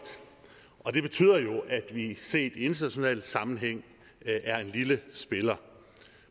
og det betyder jo at vi set i international sammenhæng er en lille spiller